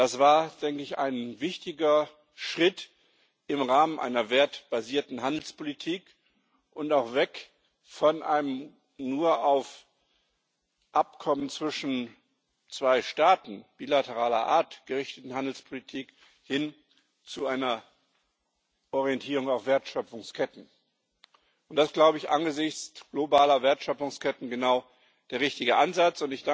Das war ein wichtiger Schritt im Rahmen einer wertebasierten Handelspolitik und auch weg von einem nur auf Abkommen bilateraler Art gerichteten Handelspolitik hin zu einer Orientierung auf Wertschöpfungsketten. Das ist angesichts globaler Wertschöpfungsketten genau der richtige Ansatz.